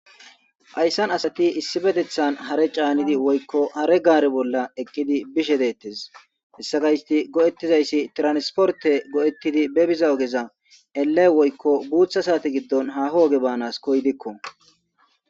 ayssan asati issi betethan hare caanidi woykko hare gaare bolla eqqidi bishe deettes hessa gaysti go7ettizayssi tiransporte go7ettidi be biza ogeza elle woykko guutha saati giddon haho oge baanas koydikko